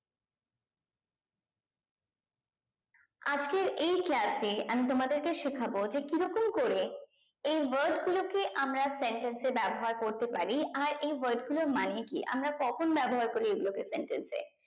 আজকের এই class এ আমি তোমাদেরকে শেখাবো যে কি রকম করে এই word গুলোকে আমরা sentence এ ব্যবহার করতে পারি আর এই word গুলোর মানে কি আমরা কখন ব্যবহার করি এই গুলো কে sentence এ